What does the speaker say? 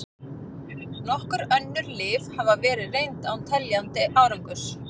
Nokkur önnur lyf hafa verið reynd án teljandi árangurs.